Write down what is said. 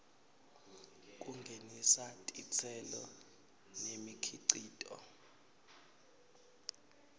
kungenisa titselo nemikhicito